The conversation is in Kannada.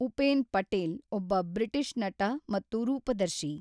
ಉಪೇನ್ ಪಟೇಲ್ ಒಬ್ಬ ಬ್ರಿಟಿಷ್ ನಟ ಮತ್ತು ರೂಪದರ್ಶಿ.